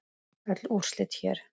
Öll úrslit hér